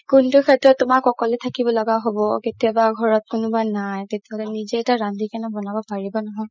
কোনটো শেত্ৰ তুমাক অকলে থাকিব লগা হ'ব কেতিয়াবা ঘৰত কোনোবা নাই তেতিয়াতো নিজে ৰান্ধি কিনে বনাব পাৰিবা নহয়